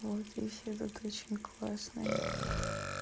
вот ещё тут очень классные